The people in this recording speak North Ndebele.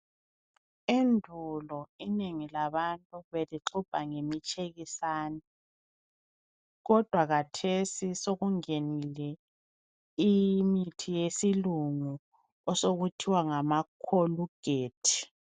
Endulo inengi labantu belixubha ngemitshekisane, kodwa khathesi sokungenile imithi yesilungu osokuthiwa ngama Colgate.